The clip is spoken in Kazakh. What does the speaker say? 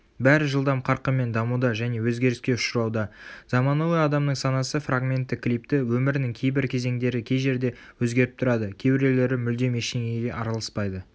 бәрі жылдам қарқынмен дамуда және өзгеріске ұшырауда заманауи адамның санасы фрагментті клипті өмірінің кейбір кезеңдері кей жерде өзгеріп тұрады кейбіреулері мүлдем ештеңеге араласпайды